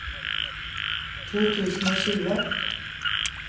to tusen og tjue